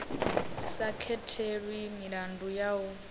sa katelwi milandu ya u